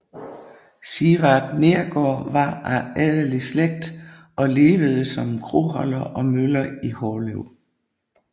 Sivart Neergaard var af adelig slægt og levede som kroholder og møller i Hårlev